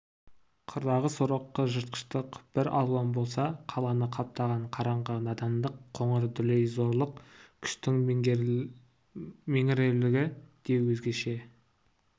қырдағы сорақы жыртқыштық бір алуан болса қаланы қаптаған қараңғы надандық қыңыр дүлей зорлық күштің меңіреулігі де өзгеше